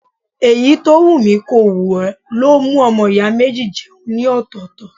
Èyí tó wù mi kò wù ó ló mú ọmọ ìyá méjì jẹun ní ọ̀tọ̀ọ̀tọ̀.